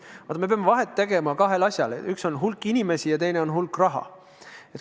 Vaat, me peame vahet tegema kahel asjal, üks on hulk inimesi ja teine on hulk raha.